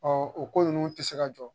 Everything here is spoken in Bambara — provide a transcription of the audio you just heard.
Ɔ o ko ninnu tɛ se ka jɔ